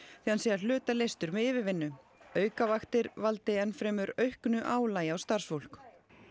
því hann sé að hluta leystur með yfirvinnu aukavaktir valdi enn fremur auknu álagi á starfsfólk